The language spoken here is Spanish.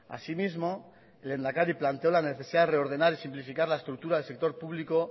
asimismo el lehendakari planteó la necesidad de reordenar y simplificar la estructura del sector público